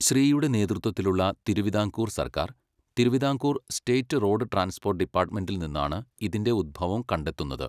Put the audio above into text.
ശ്രീയുടെ നേതൃത്വത്തിലുള്ള തിരുവിതാംകൂർ സർക്കാർ, Thiruvithamkoor state road transport ഡിപ്പാർട്ട്മെന്റിൽ നിന്നാണ് ഇതിൻ്റെ ഉത്ഭവം കണ്ടെത്തുന്നത്.